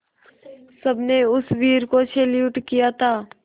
सबने उस वीर को सैल्यूट किया था